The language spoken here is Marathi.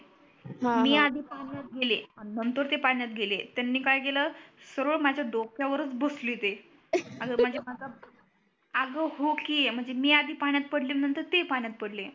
हा हा मी आधी पाण्यात गेले आणि नंतर ते पाण्यात गेले त्यांनी काय केल सरळ माझ्या डोक्यावरच बसले ते अस म्हणजे माझ्या अग हो की म्हणजे मी आधी पाण्यात पडले नंतर ते पाण्यात पडले